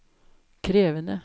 krevende